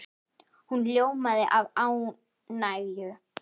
Hún ljómaði af ánægju.